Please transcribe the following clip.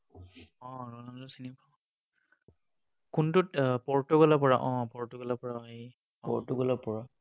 অ, Ronaldo চিনি পাওঁ। কোনটোত, পৰ্তুগালৰ পৰা, অ পৰ্তুগালৰ পৰা হেৰি, অ ৰণাল্ড ক চিনি পাওঁ।